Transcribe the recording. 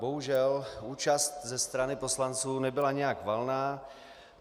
Bohužel, účast ze strany poslanců nebyla nijak valná.